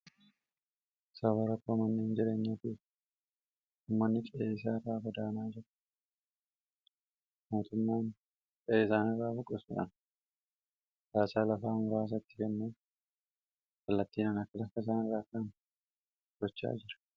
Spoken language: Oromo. saba rakkoo manneen jireenyaa bi' ummanni fieesaa raabadaanaa jiru mootummaan eesaan raa buqasudhan baasaa lafaa mraasatti kenneef hallattiin anakalakasaan raakaan bochaa jira